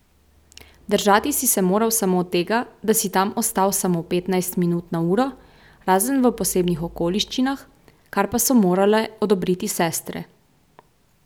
Držati si se moral samo tega, da si tam ostal samo petnajst minut na uro, razen v posebnih okoliščinah, kar pa so morale odobriti sestre.